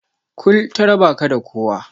Kul ta raba ka da kowa.